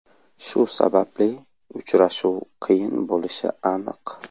Shu sababli uchrashuv qiyin bo‘lishi aniq.